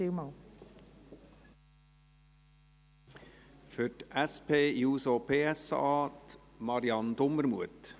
Für die SP-JUSO-PSA-Fraktion: Marianne Dumermuth.